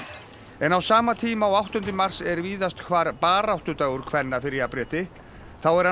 en á sama tíma og áttunda mars er víðast hvar baráttudagur kvenna fyrir jafnrétti þá er hann